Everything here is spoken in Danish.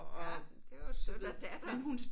Ja det var jo sødt at datteren